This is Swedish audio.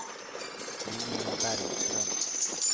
Linnea Bergström